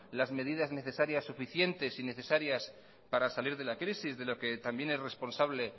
las medidas necesarias suficientes y necesarias para salir de la crisis de lo que también es responsable